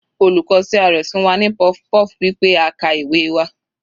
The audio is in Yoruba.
Olùkọ́ CRS fún wa ní puff-puff wí pé a ka ìwé wa.